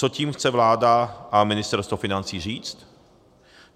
Co tím chce vláda a ministerstvo financí říct?